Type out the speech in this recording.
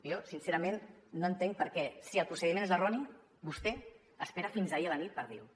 jo sincerament no entenc per què si el procediment és erroni vostè espera fins ahir a la nit per dir ho